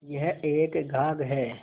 यह एक घाघ हैं